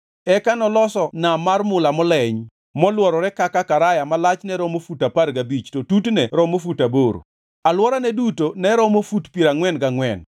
Eka noloso Nam mar mula moleny, molworore kaka karaya ma lachne romo fut apar gabich, to tutne romo fut aboro. Alworane duto ne romo fut piero angʼwen gangʼwen.